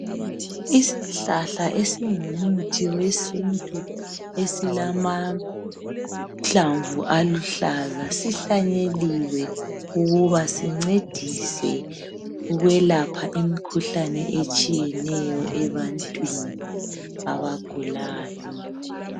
Isihlahla esingumuthi wesintu esilamahlamvu aluhlaza sihlanyeliwe ukuba sincedise ukwelapha imkhuhlane etshiyeneyo ebantwini abagulayo